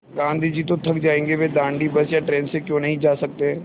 गाँधी जी तो थक जायेंगे वे दाँडी बस या ट्रेन से क्यों नहीं जा सकते